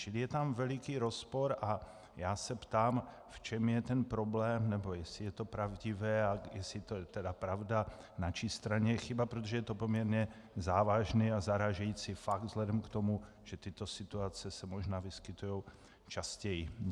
Čili je tam veliký rozpor a já se ptám, v čem je ten problém nebo jestli je to pravdivé a jestli je to tedy pravda, na čí straně je chyba, protože je to poměrně závažný a zarážející fakt vzhledem k tomu, že tyto situace se možná vyskytují častěji.